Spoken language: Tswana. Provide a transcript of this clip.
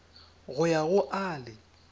go ya go a le